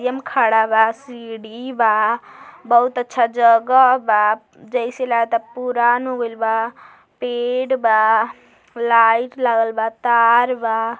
M खड़ा बा सीढ़ी बा बहुत अच्छा जगह बा जेसे लागता पुरान हो गयेल बा पेड़ बा लाइट लागल बा तार बा --